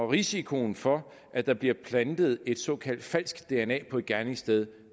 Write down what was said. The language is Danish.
risikoen for at der bliver plantet et såkaldt falsk dna på et gerningssted